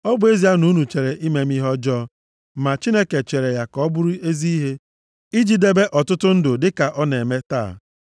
Ọ bụ ezie na unu chere ime m ihe ọjọọ, ma Chineke chere ya ka ọ bụrụ ezi ihe, iji debe ọtụtụ ndụ dịka ọ na-eme taa.